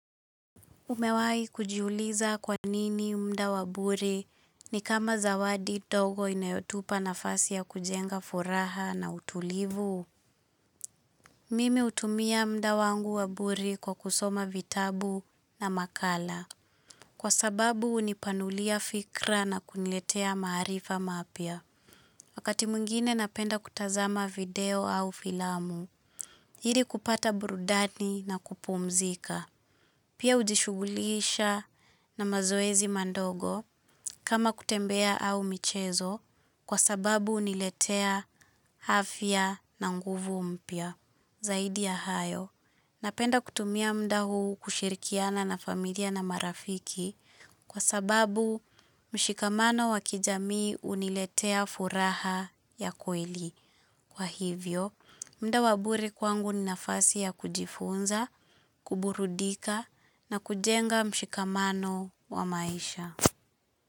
Umewai kujiuliza kwanini mda waburi ni kama zawadi ndogo inayotupa nafasi ya kujenga furaha na utulivu. Mimi utumia mda wangu waburi kwa kusoma vitabu na makala. Kwa sababu unipanulia fikra na kuniletea maharifa mapya. Wakati mwingine napenda kutazama video au filamu. Hili kupata burudani na kupumzika. Pia ujishugulisha na mazoezi mandogo kama kutembea au michezo kwa sababu huniletea afya na nguvu mpya zaidi ya hayo. Napenda kutumia mdaa huu kushirikiana na familia na marafiki kwa sababu mshikamano wakijamii huniletea furaha ya kweli. Kwa hivyo, mda waburi kwangu ni nafasi ya kujifunza, kuburudika na kujenga mshikamano wa maisha.